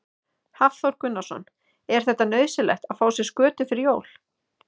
Hafþór Gunnarsson: Er þetta nauðsynlegt að fá sér skötu fyrir jólin?